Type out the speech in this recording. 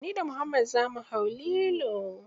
Ni da muhammad za mu hau lilo.